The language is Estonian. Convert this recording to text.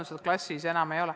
– tõenäoliselt enam ei ole.